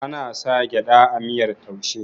ana sa gyada a miyar taushe